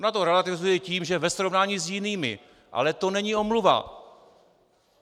Ona to relativizuje tím, že ve srovnání s jinými, ale to není omluva.